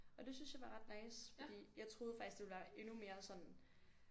Og det synes jeg var ret nice fordi jeg troede faktisk det ville være endnu mere sådan